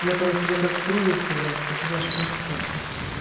на пару себе как брови сделает так я аж плакать хочу